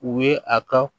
U ye a ka